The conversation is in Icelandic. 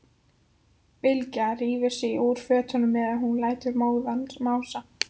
Bylgja rífur sig úr fötunum meðan hún lætur móðan mása.